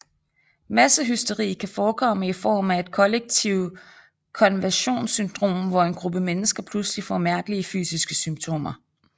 Massehysteri kan forekomme i form af et kollektivt konversionssyndrom hvor en gruppe mennesker pludselig får mærkelige fysiske symptomer